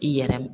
I yɛrɛ